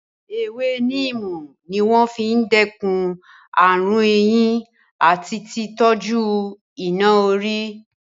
Ewé níìmù ní wọ́n fi n dẹ́kun ààrùn eyín àti tí tọ́jú iná-orí